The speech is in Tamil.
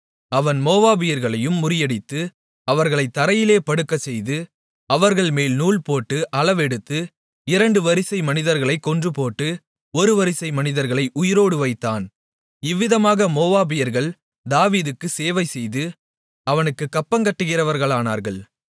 அவன் மோவாபியர்களையும் முறியடித்து அவர்களைத் தரையிலே படுக்கச்செய்து அவர்கள்மேல் நூல்போட்டு அளவெடுத்து இரண்டு வரிசை மனிதர்களைக் கொன்றுபோட்டு ஒரு வரிசை மனிதர்களை உயிரோடு வைத்தான் இவ்விதமாக மோவாபியர்கள் தாவீதுக்குச் சேவை செய்து அவனுக்குக் கப்பங்கட்டுகிறவர்களானார்கள்